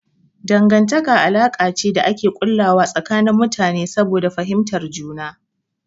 Dangantaka alaka ce da ake ƙullawa tsakanin mutane saboda fahimtar juna.